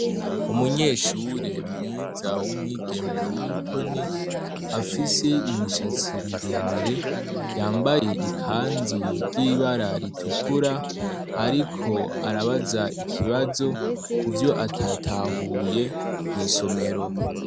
Umunyeshure mwiza w'umwigeme w'umutoni, afise imishatsi miremire, yambaye ikanzu ry'ibara ritukura ariko arabaza ikibazo kuvyo atatahuye mw'isomero.